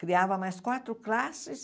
Criava mais quatro classes?